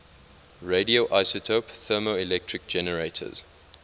radioisotope thermoelectric generators